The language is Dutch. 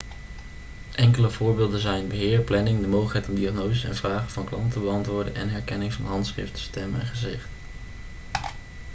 enkele voorbeelden zijn beheer planning de mogelijkheid om diagnoses en vragen van klanten te beantwoorden en herkenning van handschrift stem en gezicht